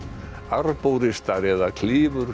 arbóristar eða